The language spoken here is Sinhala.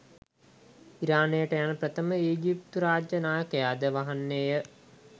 ඉරානයට යන ප්‍රථම ඊජිප්තු රාජ්‍ය නායකයාද වන්නේය